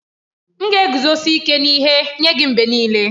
M ga-eguzosi ike n'ihe nye gị mgbe niile.